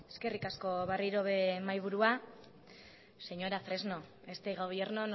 eskerrik asko berriro ere mahaiburua señora fresno este gobierno